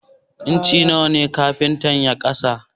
Inci nawa kafintan ya ƙara?